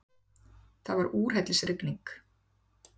Það var úrhellisrigning.